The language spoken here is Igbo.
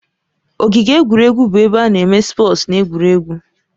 Ogige egwuregwu bụ ebe ana eme spọọs na egwuregwu